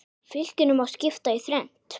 Fylkinu má skipta í þrennt.